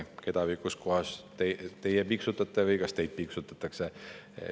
Ma ei tea, keda või kus kohas teie piiksutate või kas teid piiksutatakse.